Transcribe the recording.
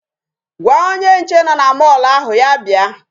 Gwa onye nche nọ na mall ahụ ya bịa.